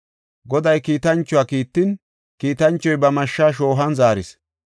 Goday kiitanchuwa kiittin, kiitanchoy ba mashsha shoohuwan zaaris.